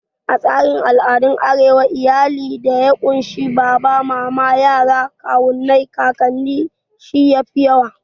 A tsarin al'adan arewa, iyali da ya kunshi baba, mama, yara, kawunai, kakannin shi yafi yawa